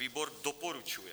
Výbor doporučuje.